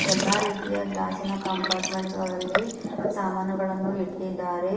ಎಲ್ಲಾ ರೀತಿಯ ಗ್ಲಾಸಿ ನ ಕಂಪಾರ್ಟ್ಮೆಂಟ್ಸ್ ಗಳಲ್ಲಿ ಸಾಮಾನುಗಳನ್ನು ಇಟ್ಟಿದ್ದಾರೆ ಎ--